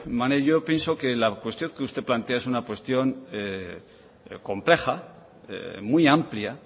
maneiro pienso que la cuestión que usted plantea es una cuestión compleja muy amplia